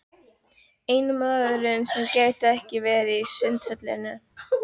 Eini maðurinn sem gæti ekki farið í Sundhöllina.